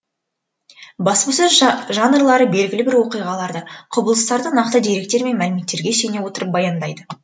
баспасөз жанрлары белгілі бір оқиғаларды құбылыстарды нақты деректер мен мәліметтерге сүйене отырып баяндайды